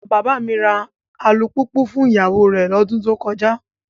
Bàbá mi ra alùpùpù fún ìyàwó rẹ̀ lọ́dún tó kọjá.